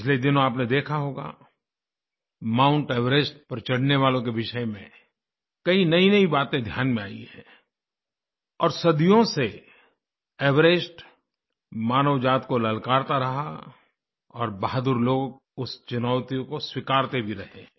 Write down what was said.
पिछले दिनों आपने देखा होगा माउंट एवरेस्ट पर चढ़ने वालों के विषय में कई नयीनयी बातें ध्यान में आयी हैं और सदियों से एवरेस्ट मानव जाति को ललकारता रहा और बहादुर लोग उस चुनौती को स्वीकारते भी रहे हैं